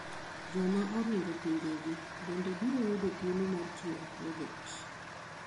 Joma oring'o pinje gi bende biro yudo thuolo mar tiyo e pojekt ,